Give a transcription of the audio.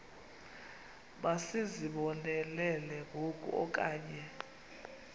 masizibonelele ngoku okanye